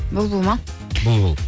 бұлбұл ма бұлбұл